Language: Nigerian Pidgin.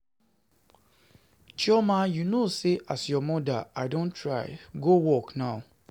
Chioma, you know say as your mama I don try, go work now.